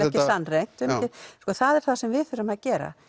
ekki sannreynt það er það sem við þurfum að gera